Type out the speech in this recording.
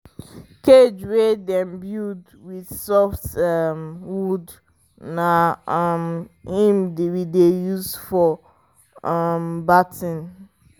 cage wey dem build with soft um wood na um him we dey use for um birthing